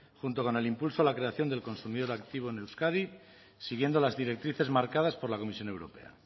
junto con el impulso a la creación del consumidor activo en euskadi siguiendo las directrices marcadas por la comisión europea